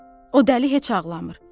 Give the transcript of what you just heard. O dəli heç ağlamır.